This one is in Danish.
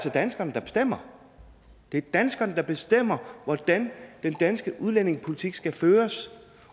er danskerne der bestemmer det er danskerne der bestemmer hvordan den danske udlændingepolitik skal føres